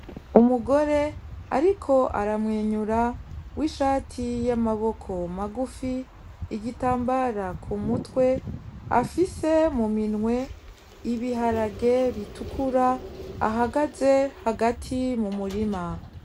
Umugore ariko aramwenyura w’ishati y’amaboko magufi , igitambara ku mutwe afise mu minwe ibiharage bitukura ahagaze hagati mu murima.